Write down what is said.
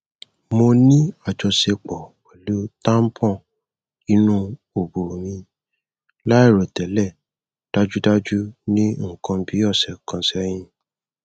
mo ni ajọṣepọ pẹlu tampon inu obo mi lairotẹlẹ dajudaju ni nkan bi ọsẹ kan sẹhin